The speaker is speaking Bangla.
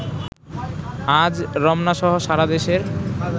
আজ রমনাসহ সারা দেশের